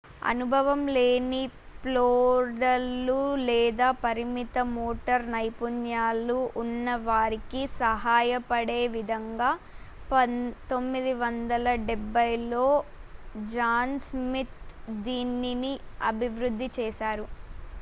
అనుభవం లేని ఫోల్డర్లు లేదా పరిమిత మోటార్ నైపుణ్యాలు ఉన్న వారికి సహాయపడే విధంగా 1970ల్లో జాన్ స్మిత్ దీనిని అభివృద్ధి చేశారు